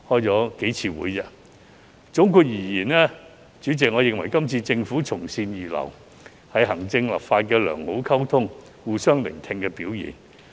主席，總括而言，我認為今次政府從善如流，是行政與立法能夠良好溝通、互相聆聽的表現。